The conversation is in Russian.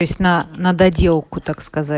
то есть на на доделку так сказать